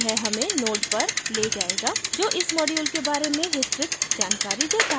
यह हमें node पर ले जायेगा जो इस module के बारे में विस्तृत जानकारी देता है